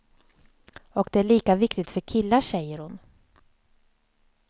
Och det är lika viktigt för killar, säger hon.